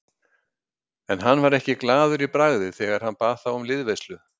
En hann var ekki glaður í bragði þegar hann bað þá um liðveislu.